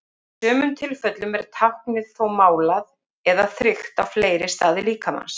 Í sumum tilfellum er táknið þó málað eða þrykkt á fleiri staði líkamans.